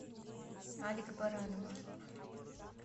алик баранова